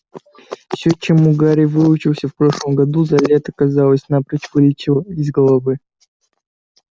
всё чему гарри выучился в прошлом году за лето казалось напрочь вылетело из головы